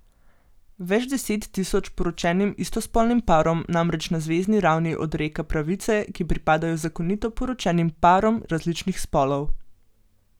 Več deset tisoč poročenim istospolnim parom namreč na zvezni ravni odreka pravice, ki pripadajo zakonito poročenim parom različnih spolov.